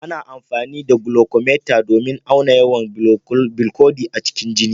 Ana amfani da glucometer domin a auna yawan bilcodi a cikin jini.